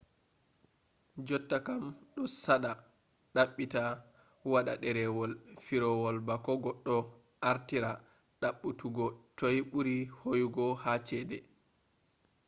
jottakam do sada dabbita wada derewol firawol bako goddo artira dabbutuggo toi buri hooyugo ha chede